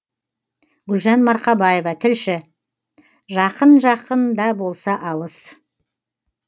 гүлжан марқабаева тілші жақын жақын да болса алыс